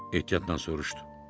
Ehtiyatla soruşdu.